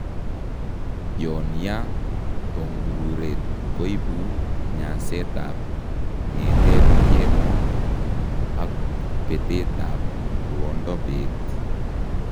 Yon yaa tongururet koibu nyaseet ab ng'eteet keemo ak betet ab ruondo beet